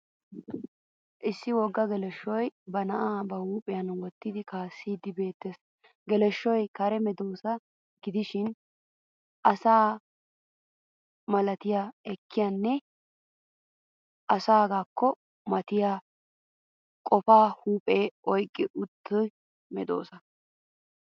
Issi wogga geleshshoy ba na'aa ba huuphiyan wottidinkaassiiddi beettes. Geleshshoy kare medoossa gidishin asa malati ekkiyaane asaagaakko matiya qoppiyo huuphiya oyqqi uttida medoossa.